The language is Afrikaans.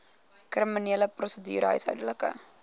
kriminele prosedure huishoudelike